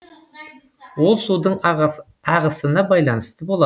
ол судың ағысына байланысты болады